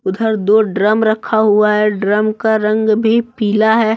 उधर दो ड्रम रखा हुआ है ड्रम का रंग भी पिला है।